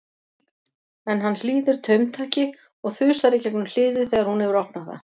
En hann hlýðir taumtaki og þusar í gegnum hliðið þegar hún hefur opnað það.